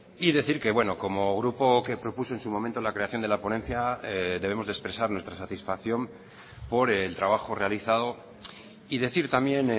y decir que bueno como grupo que propuso en su momento la creación de la ponencia debemos de expresar nuestra satisfacción por el trabajo realizado y decir también